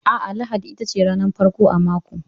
A'a, lahadi itace ranar farko a mako.